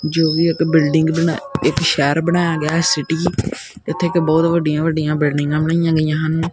ਜੌ ਵੀ ਇੱਕ ਬਿਲਡਿੰਗ ਬਣਾ ਇਕ ਸ਼ਹਿਰ ਬਣਾਇਆ ਗਿਆ ਸਿਟੀ ਇੱਥੇ ਇੱਕ ਬਹੁਤ ਵੱਡੀਆਂ ਵੱਡੀਆਂ ਬਿਲਡਿੰਗਾਂ ਬਣਾਈਆਂ ਗਈਆਂ ਹਨ।